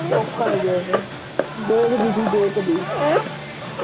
ਦੇਖਦੀ ਸੀ ਦੇਖ ਦੀ